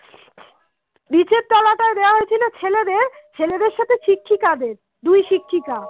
মেয়েদের সাথে শিক্ষিকাদের দুই শিক্ষিকা